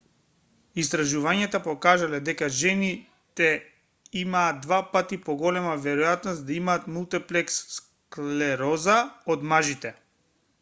истражувањата покажале дека жените имаат два пати поголема веројатност да имаат мултиплекс склероза од мажите